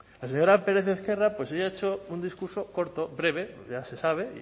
la señora pérez ezquerra ha hecho un discurso corto breve ya se sabe